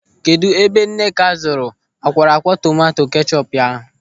Kedụ ebe Nneka zụrụ akwọrọakwọ tomanto kechọpu ya?